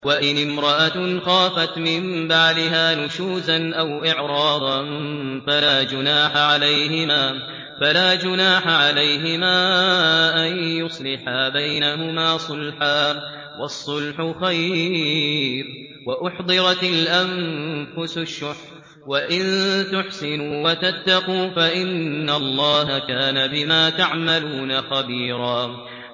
وَإِنِ امْرَأَةٌ خَافَتْ مِن بَعْلِهَا نُشُوزًا أَوْ إِعْرَاضًا فَلَا جُنَاحَ عَلَيْهِمَا أَن يُصْلِحَا بَيْنَهُمَا صُلْحًا ۚ وَالصُّلْحُ خَيْرٌ ۗ وَأُحْضِرَتِ الْأَنفُسُ الشُّحَّ ۚ وَإِن تُحْسِنُوا وَتَتَّقُوا فَإِنَّ اللَّهَ كَانَ بِمَا تَعْمَلُونَ خَبِيرًا